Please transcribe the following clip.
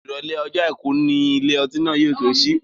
Ìrọ̀lẹ́ ọjọ́ àìkú ni ilé ọtí náà yóò tó sí.